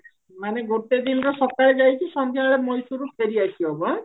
ମାନେ ଗୋଟେ ଦିନରେ ସକାଳେ ଯାଇକି ସଞ୍ଜ ବେଳେ ମୟୀଶୁର ରୁ ଫେରି ଆସିହବ ଆଁ